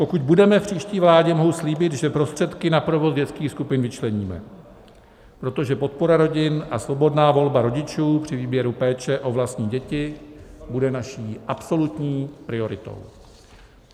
Pokud budeme v příští vládě, mohu slíbit, že prostředky na provoz dětských skupin vyčleníme, protože podpora rodin a svobodná volba rodičů při výběru péče o vlastní děti bude naší absolutní prioritou.